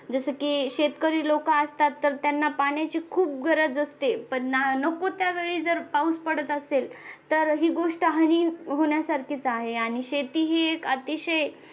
जसं की शेतकरी लोक असतात त्यांना पाण्याची खूप गरज असते पण नको त्या वेळी जर पाऊस पडत असेल तर ही गोष्ट हानी होण्यासारखीच आहे आणि शेती ही एक अतिशय